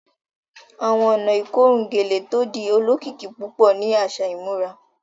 Awọn ọ̀nà ikorùn gẹ̀lẹ̀ tó dì òlòkikì púpọ̀ ni aṣa ìmúrà